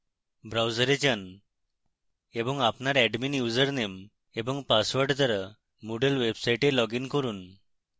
browser যান এবং আপনার admin ইউসারনেম এবং পাসওয়ার্ড দ্বারা moodle website লগইন করুন